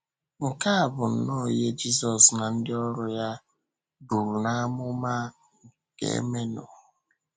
Nke a bụ nnọọ ihe Jisọs na ndị ọ̀rụ ya buru n’ámụ̀mà ga-eme nụ.